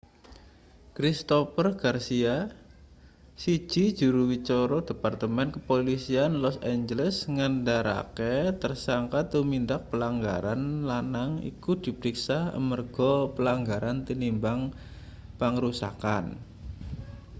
christopher garcia siji juru wicara departemen kepolisian los angeles ngandharake tersangka tumindak pelanggaran lanang iku dipriksa amarga pelanggaran tinimbang pangrusakan